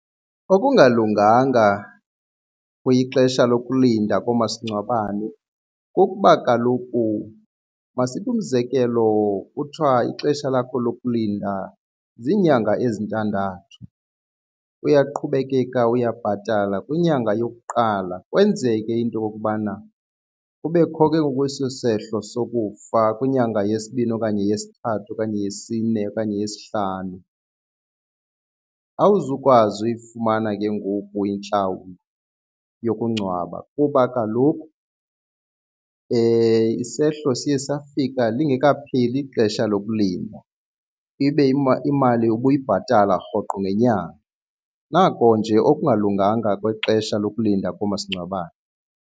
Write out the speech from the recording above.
Okungalunganga kwixesha lokulinda loomasingcwabane kuba kaloku masithi umzekelo kuthiwa ixesha lakho lokulinda ziinyanga ezintandathu, uyaqhubekeka uyabhatala kwinyanga yokuqala kwenzeke into yokubana kubekho ke ngoku eso sehlo sokufa kwinyanga yesibini okanye yesithathu okanye yesine okanye yesihlanu. Awuzukwazi uyifumana ke ngoku intlawulo yokungcwaba kuba kaloku isehlo siye safika lingekapheli ixesha lokulinda ibe imali ubuyibhatala rhoqo ngenyanga. Nako nje okungalunganga kwexesha lokulinda koomasingcwabane.